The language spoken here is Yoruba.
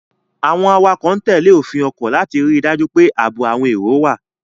Àwọn awakọ̀ ń tẹ̀lé òfin ọkọ̀ láti rí i dájú pé ààbò àwọn èrò wà.